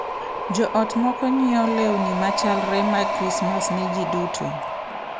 Jo ot moko ng’iewo lewni ma chalre mag Krismas ne ji duto.